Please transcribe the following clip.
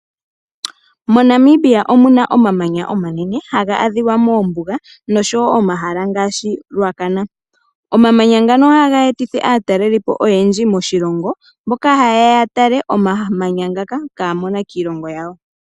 MoNamibia omuna omamanya omanene, haga adhiwa moombuga noshowo omahala ngaashi Ruacana. Omamanya ngoka ohaga etitha aatalelipo oyendji moshilongo, mboka hayeya okutala omamanya ngoka ihaa mono kiilongo yawo.